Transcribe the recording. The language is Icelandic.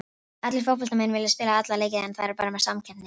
Allir fótboltamenn vilja spila alla leiki en það er meiri samkeppni hérna.